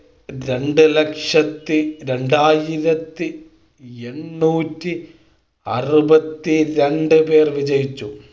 രണ്ട് ലക്ഷത്തി രണ്ടായിരത്തി എണ്ണൂറ്റി അറുപത്തി രണ്ടുപേർ വിജയിച്ചു